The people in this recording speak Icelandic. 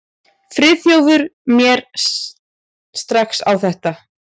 Friðþjófur mér strax á þetta.